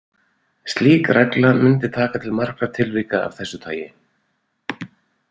Slík regla mundi taka til margra tilvika af þessu tagi.